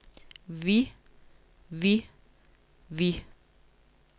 vi vi vi